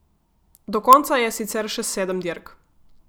Do konca je sicer še sedem dirk.